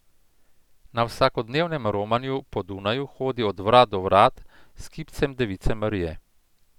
Na vsakodnevnem romanju po Dunaju hodi od vrat do vrat s kipcem Device Marije.